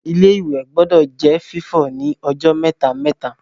Ilé-ìwẹ̀ gbọdọ̀ jẹ́ fífọ̀ ní ọjọ́ mẹ́ta-mẹ́ta